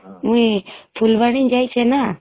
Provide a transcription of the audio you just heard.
ମୁଇଁ ଫୁଲବାଣୀ ଯାଇଛେ ନା